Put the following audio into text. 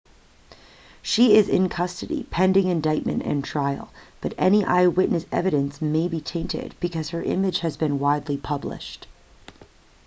she is in custody pending indictment and trial but any eyewitness evidence may be tainted because her image has been widely published